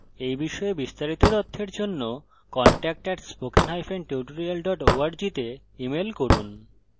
এই বিষয়ে বিস্তারিত তথ্যের জন্য contact @spokentutorial org তে ইমেল করুন